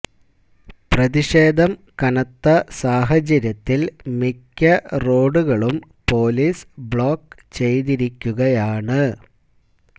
പ്രതിഷേധം കനത്ത സാഹചര്യത്തിൽ മിക്ക റോഡുകളും പോലീസ് ബ്ലോക്ക് ചെയ്തിരിക്കുകയാണ്